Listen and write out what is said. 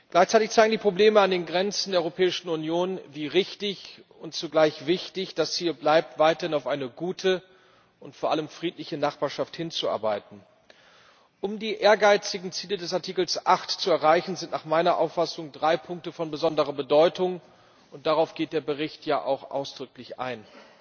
Gleichzeitig zeigen die Probleme an den Grenzen der Europäischen Union, wie richtig und zugleich wichtig es hier bleibt, weiterhin auf eine gute und vor allem friedliche Nachbarschaft hinzuarbeiten. Um die ehrgeizigen Ziele des Artikels 8 zu erreichen, sind nach meiner Auffassung drei Punkte von besonderer Bedeutung, und darauf geht der Bericht ja auch ausdrücklich ein.